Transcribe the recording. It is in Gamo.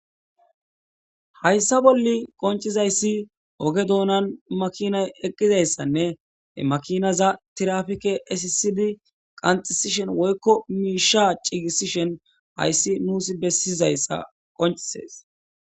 Hayssa bolli qoncizayssi oge doonan makinay eqqizayssanne makinaza tirafike asisidi qanxisishen woykko miisha cigisishen hayssi nuusi bessizayssa qoncises